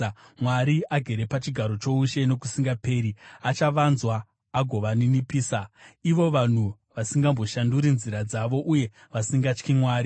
Mwari, agere pachigaro choushe nokusingaperi, achavanzwa agovaninipisa, Sera ivo vanhu vasingamboshanduri nzira dzavo, uye vasingatyi Mwari.